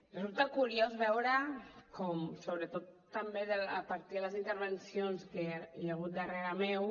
resulta curiós veure com sobretot també a partir de les intervencions que hi hagut darrere meu